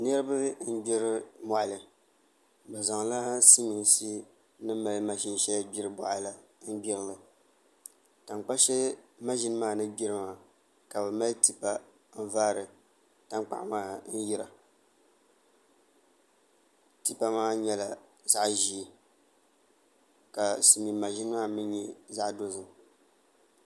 Niraba n gbiri moɣali bi zaŋla mashin shɛli silmiinsi ni mali gbiri boɣa la n gbirili tankpa shɛli maʒini maa ni gbiri maa ka bi mali tipa n vaari tankpaɣu maa n yira tipa maa nyɛla zaɣ ʒiɛ ka silmiin maʒini maa mii nyɛ zaɣ dozim